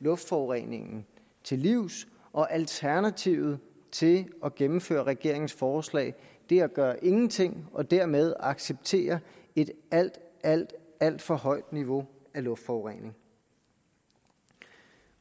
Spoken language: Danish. luftforureningen til livs og alternativet til at gennemføre regeringens forslag er at gøre ingenting og dermed acceptere et alt alt alt for højt niveau af luftforurening